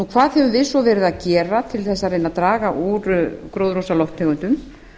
hvað höfum við svo verið að gera til að reyna að draga úr gróðurhúsalofttegundum